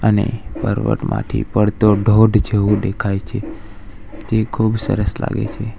અને પર્વતમાંથી પડતો ધોધ જેવું દેખાય છે તે ખૂબ સરસ લાગે છે.